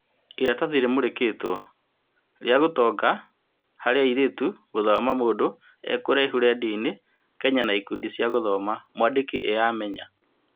Iratathi rĩmũrĩkĩtwo - rĩa ũtonga harĩ airĩtu' gũthoma mũndũ e kũraihu rendioini-Kenya na ikundi cia gũthoma. Mwandĩki e Amenya.